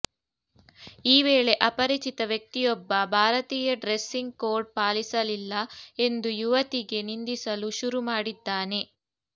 ಈ ವೇಳೆ ಅಪರಿಚಿತ ವ್ಯಕ್ತಿಯೊಬ್ಬ ಭಾರತೀಯ ಡ್ರೆಸ್ಸಿಂಗ್ ಕೋಡ್ ಪಾಲಿಸಲಿಲ್ಲ ಎಂದು ಯುವತಿಗೆ ನಿಂದಿಸಲು ಶುರು ಮಾಡಿದ್ದಾನೆ